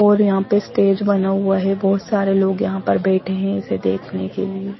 और यहाँ पे स्टेज बना हुआ है बहुत सारे लोग यहाँ पर बैठे है इसे देखने के लिए।